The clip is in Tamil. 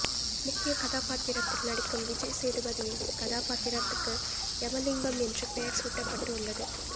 முக்கிய கதாபாத்திரத்தில் நடிக்கும் விஜய் சேதுபதியின் கதா பாத்திரத்துக்கு யமலிங்கம் என்று பெயர் சூட்டப்பட்டு உள்ளது